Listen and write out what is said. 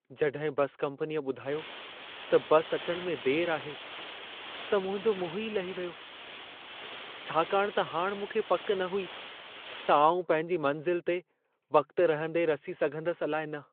जॾहिं बसि कंपनीअ ॿुधायो त बस अचण में देरि आहे, त मुंहिंजो मुंहुं ई लही वियो। छाकाणि त हाणि मूंखे पक न हुई त आउं पंहिंजी मंज़िल ते वक़्त रहंदे रसी सघंदसि अलाइ न।